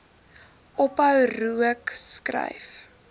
ophou rook skryf